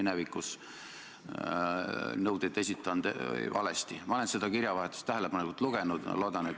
Seda üritab Jüri Ratas siin üle dramatiseerida, et viia teema kuskile mujale.